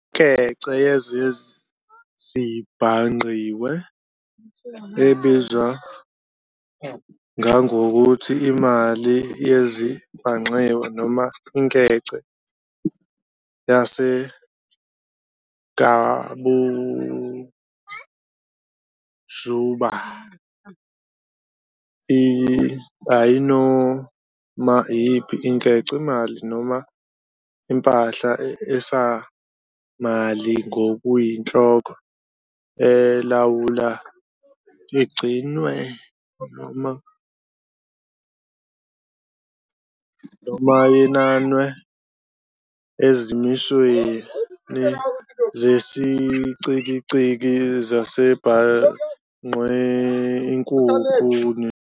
Inkece yezezibhangqiwe, ebizwa ngangokuthi imali yezezibhangqiwe, noma inkece yesigabuzuba, iyinoma iyiphi inkece, imali, noma impahla esamali ngokuyinhloko elawulwa, igcinwe noma yenanwe ezimisweni zesiCikizi sezezibhangqiwe inkukhu.